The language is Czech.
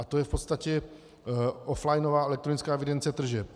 A to je v podstatě offlinová elektronická evidence tržeb.